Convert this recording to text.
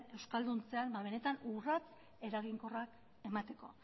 euskalduntzean benetan urrats eraginkorrak emateko